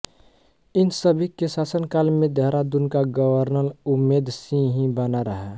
इन सभी के शासन काल में देहरादून का गवर्नर उम्मेद सिंह ही बना रहा